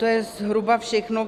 To je zhruba všechno.